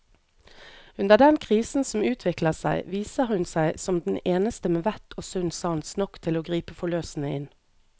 Under den krisen som utvikler seg, viser hun seg som den eneste med vett og sunn sans nok til å gripe forløsende inn.